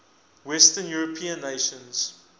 western european nations